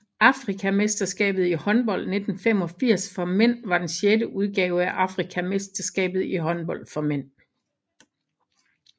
Afrikamesterskabet i håndbold 1985 for mænd var den sjette udgave af Afrikamesterskabet i håndbold for mænd